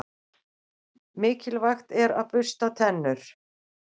Mikilvægt er að bursta tennur.